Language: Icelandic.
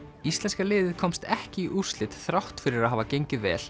íslenska liðið komst ekki í úrslit þrátt fyrir að hafa gengið vel